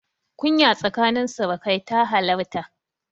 Kunya tsakanin surukai ta halarta.